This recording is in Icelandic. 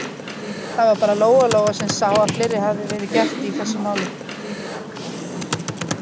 Það var bara Lóa-Lóa sem sá að fleira hafði verið gert í þessum málum.